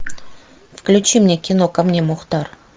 включи мне кино ко мне мухтар